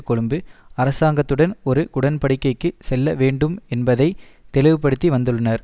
கொழும்பு அரசாங்கத்துடன் ஒரு உடன்படிக்கைக்கு செல்லவேண்டும் என்பதை தெளிவுபடுத்தி வந்துள்ளனர்